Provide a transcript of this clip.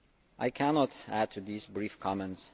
I cannot add to these brief comments.